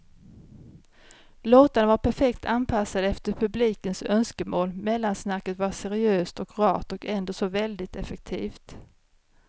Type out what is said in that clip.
Låtarna var perfekt anpassade efter publikens önskemål, mellansnacket var seriöst och rart och ändå så väldigt effektivt.